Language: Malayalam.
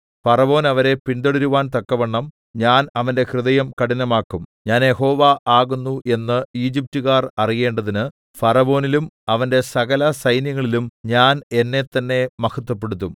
ഫറവോൻ അവരെ പിന്തുടരുവാൻ തക്കവണ്ണം ഞാൻ അവന്റെ ഹൃദയം കഠിനമാക്കും ഞാൻ യഹോവ ആകുന്നു എന്ന് ഈജിപ്റ്റുകാർ അറിയേണ്ടതിന് ഫറവോനിലും അവന്റെ സകലസൈന്യങ്ങളിലും ഞാൻ എന്നെ തന്നെ മഹത്വപ്പെടുത്തും